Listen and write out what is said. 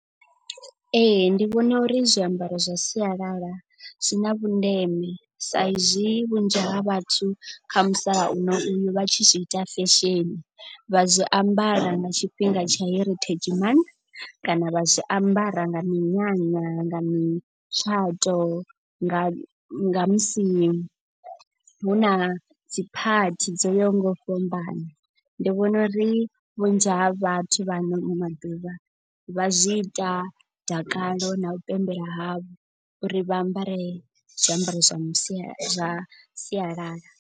Ee ndi vhona uri zwiambaro zwa sialala zwi na vhundeme sa izwi vhunzhi ha vhathu kha musalauno uyu vha tshi zwi ita fesheni. Vha zwi ambara nga tshifhinga tsha heritage month kana vha zwi ambara nga minyanya nga mi tshato nga. Nga musi hu na dziphathi dzo yaho nga u fhambana. Ndi vhona uri vhunzhi ha vhathu vha ano maḓuvha vha zwi ita dakalo na u pembela havho uri vha ambare zwiambaro zwa sialala sialala.